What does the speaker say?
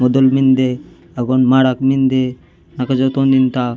मुदुल मिन्दे अगवान मड़क मिन्दे नको जॉन तीन ता --